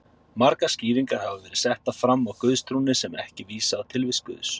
Margar skýringar hafa verið settar fram á guðstrúnni sem ekki vísa á tilvist Guðs.